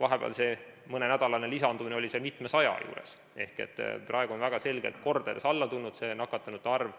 Vahepeal, mõne nädala jooksul oli lisandumine mitmesaja juures ehk praegu on väga selgelt alla tulnud see nakatunute arv.